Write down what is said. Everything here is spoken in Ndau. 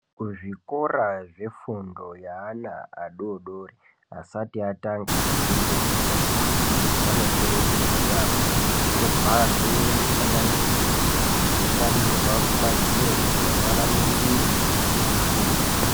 Kuzvikora zvefundo yeana adodori asati atanga fundo yekutanga vanokurudzirwa yaambo kuti kubharwe mufananidzo yainamirwa kumadziro kuti vana vainingire veifunda.